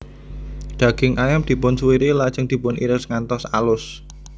Daging ayam dipun suwiri lejeng dipun iris ngantos alus